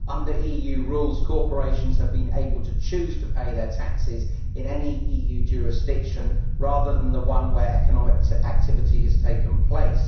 Under EU rules, corporations have been able to choose to pay their taxes in any EU jurisdiction rather than the one where economic activity has taken place.